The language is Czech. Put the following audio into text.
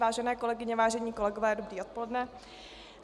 Vážené kolegyně, vážení kolegové, dobré odpoledne.